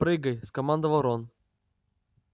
прыгай скомандовал рон